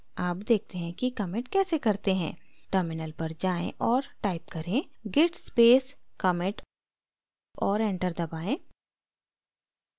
अब देखते हैं कि commit कैसे करते हैं terminal पर जाएँ और type करें: git space commit और enter दबाएँ